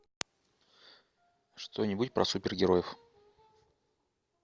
что нибудь про супергероев